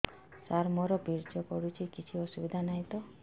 ସାର ମୋର ବୀର୍ଯ୍ୟ ପଡୁଛି କିଛି ଅସୁବିଧା ନାହିଁ ତ